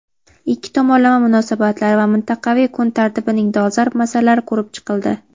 Ikki tomonlama munosabatlar va mintaqaviy kun tartibining dolzarb masalalari ko‘rib chiqildi.